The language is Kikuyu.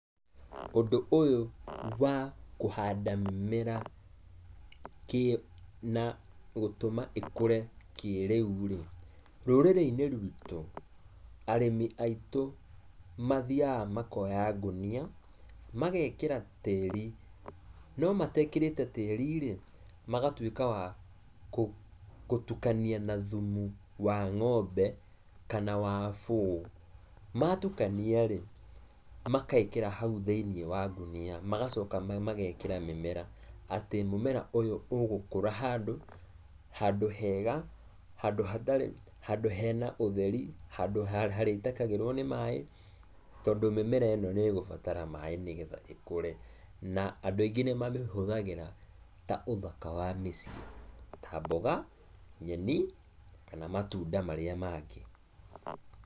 Ũndũ ũyũ wa, kũhanda mĩmera na gũtũma ĩkũre kĩrĩu-rĩ, rũrĩrĩ-inĩ rũitũ, arĩmi aitũ mathiaga makoya ngũnia, magekĩra tĩri, no matekĩrĩte tĩri-rĩ, magatuĩka wa kũtukania na thumu wa ngombe, kana wa bũũ. Matukania-ri makekĩra hau thĩiniĩ wa ngũnia, magacoka magekĩra mĩmera. Atĩ mũmera ũyũ ũgũkũra handũ, handũ hega, handũ hatarĩ, handũ hena ũtheri, handũ harĩitĩkagĩrũo nĩ maĩ, tondũ mĩmera ĩno nĩvĩgũbatara maĩ nĩgetha ĩkũre, na andũ aingĩ nĩmamĩhũthagĩra ta ũthaka wa mĩciĩ, ta mboga, nyeni, kana matunda marĩa mangĩ.